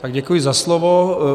Tak děkuji za slovo.